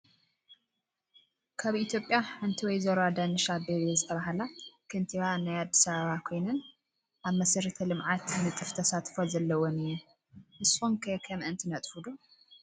ካብ ኢትዮጵያ ሐንቲ ወይዘሮ አዳነሽ አቤቤ ዝተባላ ከንቲባ ናይ አዲስ አበባ ኮይን አብ መሰረተ ልምዓት ንጥፍ ተሳትፎ ዘለወን እየን ።ንሱኩም ከ ከምአንትነጥፍ ዶ